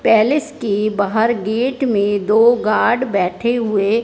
palace के बहार gate में दो गार्ड बैठे हुए--